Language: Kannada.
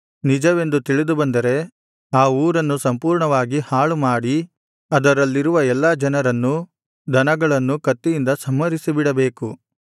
ನಿಜವೆಂದು ತಿಳಿದುಬಂದರೆ ಆ ಊರನ್ನು ಸಂಪೂರ್ಣವಾಗಿ ಹಾಳು ಮಾಡಿ ಅದರಲ್ಲಿರುವ ಎಲ್ಲಾ ಜನರನ್ನೂ ದನಗಳನ್ನೂ ಕತ್ತಿಯಿಂದ ಸಂಹರಿಸಿಡಬೇಕು